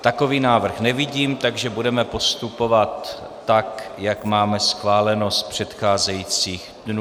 Takový návrh nevidím, takže budeme postupovat tak, jak máme schváleno z předcházejících dnů.